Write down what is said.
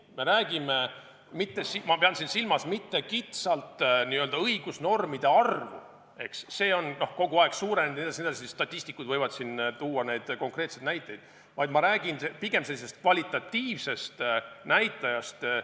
Ma ei pea siin silmas mitte kitsalt õigusnormide arvu – see on kogu aeg suurenenud, statistikud võivad tuua konkreetseid näiteid –, vaid ma räägin pigem kvalitatiivsest näitajast.